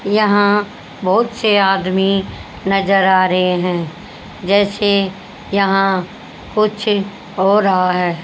यहां बहोत से आदमी नजर आ रहे हैं जैसे यहां कुछ हो रहा है।